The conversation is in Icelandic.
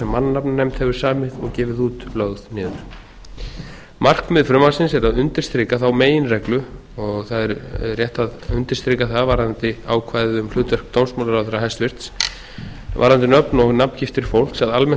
mannanafnanefnd hefur samið og gefið út lögð niður markmið frumvarpsins er að undirstrika þá meginreglu og það er átt að undirstrika það varðandi ákvæðið um hlutverk dómsmálaráðherra hæstvirtur varðandi nöfn og nafngiftir fólks að almennt